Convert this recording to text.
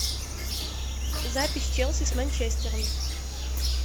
запись челси с манчестером